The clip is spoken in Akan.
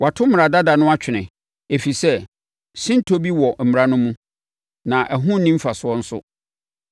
Wɔato mmara dada no atwene, ɛfiri sɛ, sintɔ bi wɔ mmara no mu, na ɛho nni mfasoɔ nso.